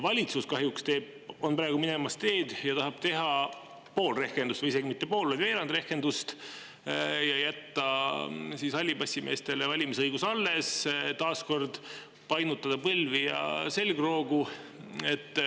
Valitsus on kahjuks praegu minemas seda teed, et tahab teha pool rehkendust, või isegi mitte pool, vaid veerand rehkendust ja jätta hallipassimeestele valimisõiguse alles, taas kord painutada põlvi ja selgroogu.